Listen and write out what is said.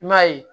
I m'a ye